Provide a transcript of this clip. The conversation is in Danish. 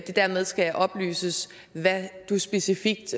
det dermed skal oplyses hvad du specifikt